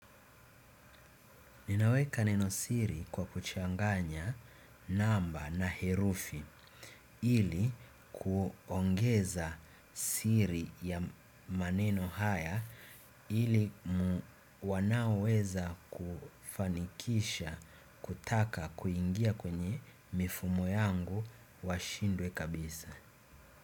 Ninaweka neno siri kwa kuchanganya namba na herufi ili kuongeza siri ya maneno haya ili wanao weza kufanikisha kutaka kuingia kwenye mifumo yangu washindwe kabisa.